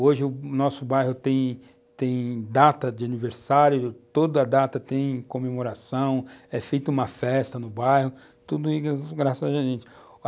Hoje o nosso bairro tem tem data de aniversário, toda data tem comemoração, é feita uma festa no bairro, tudo graças a gente.